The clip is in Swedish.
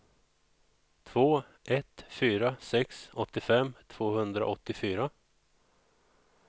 två ett fyra sex åttiofem tvåhundraåttiofyra